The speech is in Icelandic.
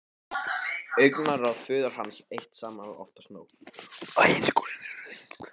Augnaráð föður hans eitt saman var oftast nóg.